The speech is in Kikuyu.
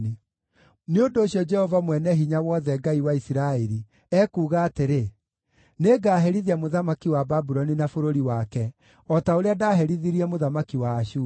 Nĩ ũndũ ũcio, Jehova Mwene-Hinya-Wothe, Ngai wa Isiraeli, ekuuga atĩrĩ: “Nĩngaherithia mũthamaki wa Babuloni na bũrũri wake, o ta ũrĩa ndaaherithirie mũthamaki wa Ashuri.